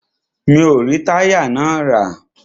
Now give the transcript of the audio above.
Mi o rí táyà náà rà.